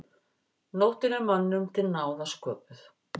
Nóttin er mönnum til náða sköpuð.